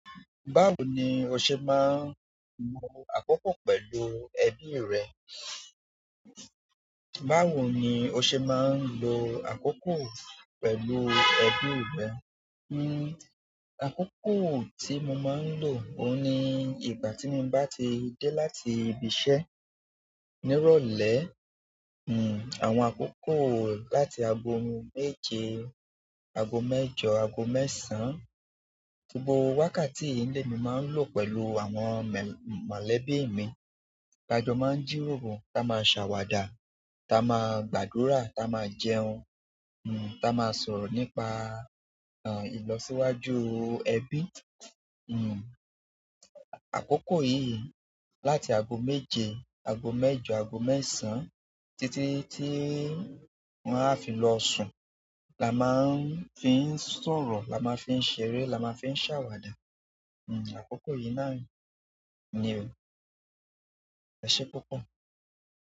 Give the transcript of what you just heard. Báwo ni o ṣe máa ń lo àkókò pẹ̀lú ẹbí rẹ? Báwo ni o ṣe máa ń lo àkókò pẹ̀lú ẹbí rẹ? Hmm àkókò tí mo máa ń lò ó ni ìgbà tí mo bá ti dé láti ibiṣẹ́ nírọ̀lẹ́, hmm àwọn àkókò láti ago méje, ago mẹ́jọ, ago mẹ́sàn-án, gbogbó wákàtí yìí ni mí máa ń lò pẹ̀lú àwọn mẹ̀l-mọ̀lẹ́bí mi. Ta jọ máa ń jíròro, táa máa ń sàwàdà, táa máa ń gbàdúrà, táa máa ń jẹun, hmm táa máa ń sọ̀rọ̀ nípa, àń, ìlọsíwájú ẹbí, hmm. Àkókò yí láti ago méje, ago mẹ́jọ, ago mẹ́sàn titi titi wọn a fí lọ sùn là máa fi ń sọ̀rọ̀ là maatń fí ń ṣeré là máa fi ń ṣawada hmm àkókò yìí náà ni. EṢé púpọ̀?